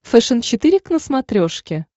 фэшен четыре к на смотрешке